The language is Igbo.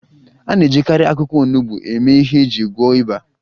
A na-ejikarị akwụkwọ onugbo eme ihe iji gwọọ ịba